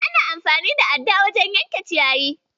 Ana amfani da adda wajen yanke ciyayi.